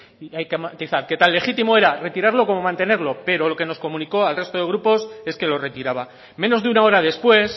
ayer hay que matizar que tan legítimo era retirarlo como mantenerlo pero lo que nos comunicó al resto de grupos es que lo retiraba menos de una hora después